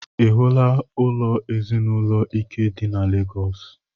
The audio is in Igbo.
Ị hụla ụlọ ezinaụlọ Ike dị na Legọs?